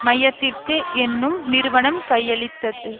மையத்திற்கு என்னும் நிறுவனம் கையளித்தது